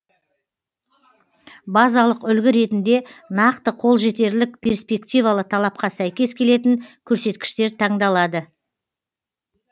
базалық үлгі ретінде нақты қолжетерлік перспективалы талапқа сәйкес келетін көрсеткіштер таңдалады